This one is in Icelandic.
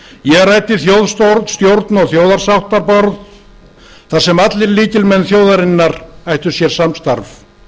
ég ræddi þjóðstjórn og þjóðarsáttarborð þar sem allir lykilmenn þjóðarinnar ættu sér samstarf